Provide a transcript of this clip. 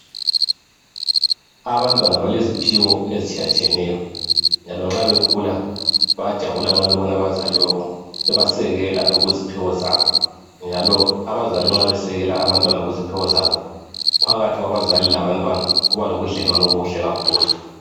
Abantwana baleziphiwo ezitshiyatshiyeneyo njalo nxa bekhula bayajabula nxa bebona abazali babo bebasekela okweziphiwo zabo njalo abazala nxa besekela abantwana kuziphiwo zabo phakathi kwabazali labantwana kuba lobudlelwano obuhle.